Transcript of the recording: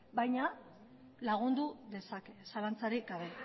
baina lagundu dezake zalantzarik gabe